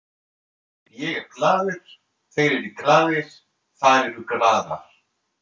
Ég er glaður, þeir eru glaðir, þær eru glaðar.